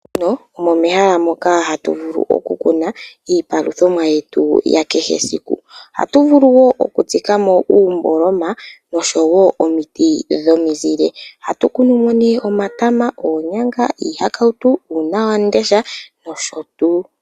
Oshikunino omo mehala moka hatu vulu oku kuna iipaluthomwa yetu ya kehesiku. Ohatu vulu wo oku tsikamo uumboloma noshowo omiti dhomizile. Ohatu kunumo ne omatama, oonyanga, iihakautu uunawamundesha nosho tuu.